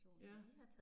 Ja